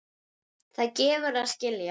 Það gefur að skilja.